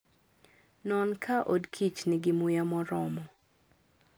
Non ka odkich nigi muya moromo.